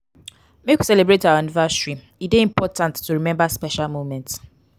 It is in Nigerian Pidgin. make we celebrate our anniversary e dey important to rememba special moments.